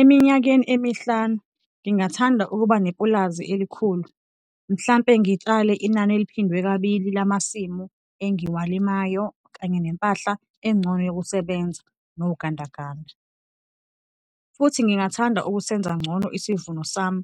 Eminyakeni emihlanu ngingathanda ukuba nepulazi elikhulu - mhlampe ngitshale inani eliphindwe kabili lamasimu angiwalimayo kanye nempahla engcono yokusebenza nogandaganda. Futhi ngingathanda ukusenza ngcono isivuno sami.